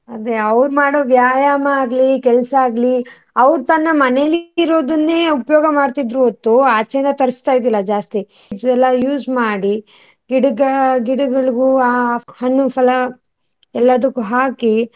ಅದೇ ಅವ್ರು ಮಾಡೋ ವ್ಯಾಯಾಮ ಆಗ್ಲಿ ಕೆಲಸ ಆಗ್ಲಿ ಅವ್ರು ತನ್ನ ಮನೇಲಿ ಇರೋದನ್ನೇ ಉಪಯೋಗ ಮಾಡ್ತಿದ್ರು ಹೊರತು ಆಚೆ ಇಂದ ತರಿಸ್ತ ಇರಲಿಲ್ಲ ಜಾಸ್ತಿ. ಎಲ್ಲ use ಮಾಡಿ ಗಿಡಗ~ ಗಿಡಗಳಗು ಆ ಹಣ್ಣು ಫಲ ಎಲ್ಲದುಕ್ಕು ಹಾಕಿ.